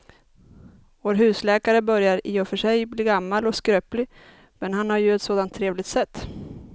Vår husläkare börjar i och för sig bli gammal och skröplig, men han har ju ett sådant trevligt sätt!